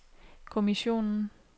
kommissionen